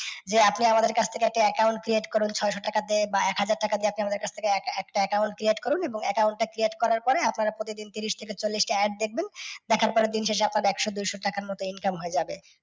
যে আপনি আমাদের কাছ থেকে একটা account create করুন ছ'শো টাকা দিয়ে বা এক হাজার টাকা দিয়ে আপনি আমার কাছ থেকে এক~ একটা account create করুন, এবং account টা create করার পরে আপনারা প্রতিদিন তিরিশ থেকে ছল্লিশ টা add দেখবেন, দেখার পরে তিনশো ষাট বা একশো, দুইশ টাকার মতো income হয়ে যাবে।